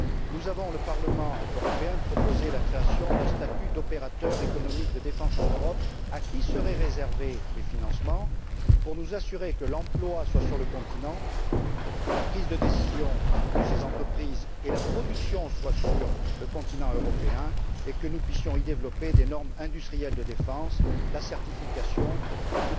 Nous le Parlement européen avons proposé la création d'un statut d'opérateurs économiques de défense en Europe, à qui seraient réservés les financements, pour nous assurer que l'emploi soit sur le continent, que la prise de décision de ces entreprises et la production soient sur le continent européen, et que nous puissions y développer des normes industrielles de défense, la certification et